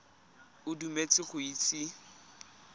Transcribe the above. o dumetse gore o itse